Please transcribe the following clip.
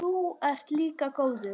Þú ert líka góður.